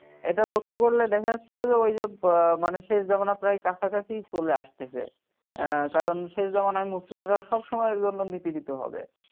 এটা লক্ষ্য করলে দেখা যাচ্ছে যে ওই যে মানে শেষ জামানা প্রায় কাছাকাছি চলে আসতেছে কারণ শেষ জামানায় মুসলিমরা সব সময়ের জন্য নিপীড়িত হবে